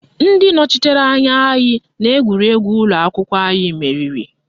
Ndị nọchitere anya anyị n'egwuregwu ụlọakwụkwọ anyị meriri